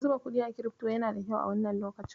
Zuba kuɗi a kirifto yana da kyau a wannan lokacin.